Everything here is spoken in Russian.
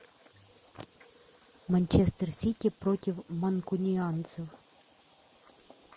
манчестер сити против манкунианцев